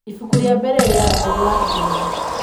ibuku rĩa mbere rĩa ngugi wa thiongo